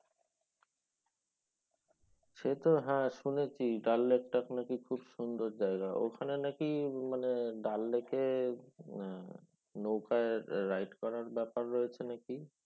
সে তো শুনেছি। হ্যাঁ ডাল লেকটা নাকি খুব সুন্দর জায়গা। ওখানে নাকি মানে অনেকে নৌকার ride করার ব্যাপার রয়েছে নাকি।